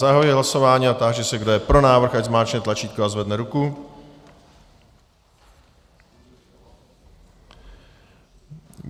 Zahajuji hlasování a táži se, kdo je pro návrh, ať zmáčkne tlačítko a zvedne ruku.